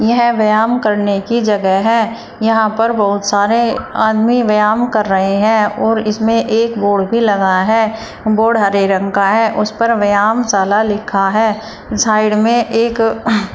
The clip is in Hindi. यह व्यायाम करने की जगह है यहां पर बहुत सारे आदमी व्यायाम कर रहे हैं और इसमें एक बोर्ड भी लगा है बोर्ड हरे रंग का है उस पर व्यायामशाला लिखा है साइड में एक--